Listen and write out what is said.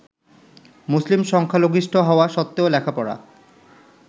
মুসলিম সংখ্যালঘিষ্ঠ হওয়া সত্ত্বেও লেখাপড়া